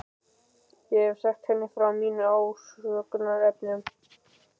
Ég hef sagt henni frá mínum ásökunarefnum.